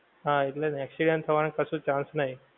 હા એટલે accident થવાનો કશું chance નહિ.